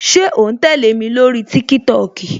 Ṣé o ń tẹle mi lórí TikTok?